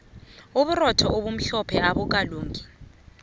uburotho obumhlophe abukalungi